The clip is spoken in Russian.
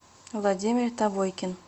владимир тавойкин